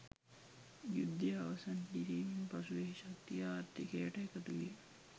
යුද්ධය අවසන් කිරීමෙන් පසු එහි ශක්තිය ආර්ථිකයට එකතු විය.